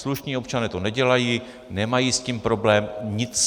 Slušní občané to nedělají, nemají s tím problém, nic.